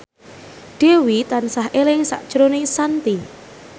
Dewi tansah eling sakjroning Shanti